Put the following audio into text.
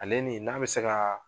Ale nin n'a bɛ se ka